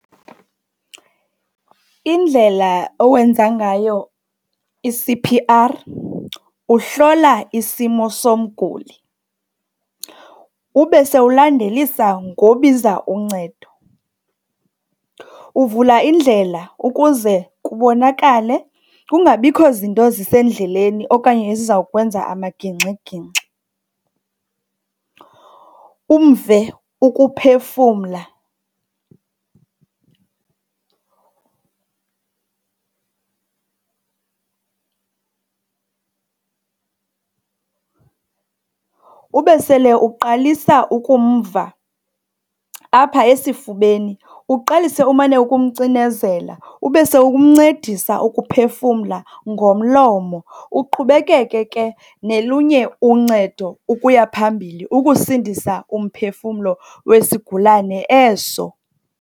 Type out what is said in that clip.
Indlela owenza ngayo i-C_P_R, uhlola isimo somguli ube sewulandelisa ngobiza uncedo. Uvula indlela ukuze kubonakale, kungabikho zinto zisendleleni okanye ezizawukwenza amagingxigingxi. Umve ukuphefumla, ube sele uqalisa ukumva apha esifubeni. Uqalise umane umcinezela, ube sewumncedisa ukuphefumla ngomlomo. Uqhubekeke ke nolunye uncedo ukuya phambili ukusindisa umphefumlo wesigulane eso.